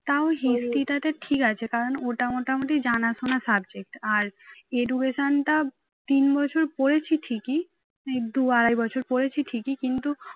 তাও history টা তো ঠিক আছে কারণ ওটা মোটামুটি জানাশোনা subject আর education টা তিন বছর পড়েছি ঠিকই দুই আড়াই বছর পড়েছি ঠিকই কিন্তু